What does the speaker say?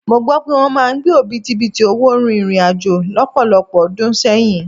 Mó gbọ́ pé wọ́n máa ń gbé òbítíbitì owó rìnrìn àjò lọ́pọ̀lọpọ̀ ọdún sẹ́yìn.